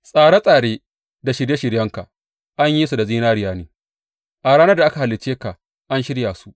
Tsare tsare da shirye shiryenka an yi su da zinariya ne; a ranar da aka halicce ka an shirya su.